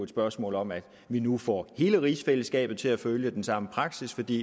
spørgsmål om at vi nu får hele rigsfællesskabet til at følge den samme praksis fordi